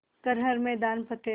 कर हर मैदान फ़तेह